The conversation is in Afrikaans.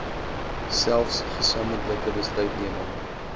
selfs gesamentlike besluitneming